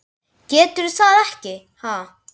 Geturðu það ekki, ha?